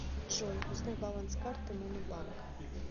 джой узнай баланс карты монобанка